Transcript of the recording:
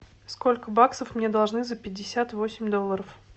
сколько баксов мне должны за пятьдесят восемь долларов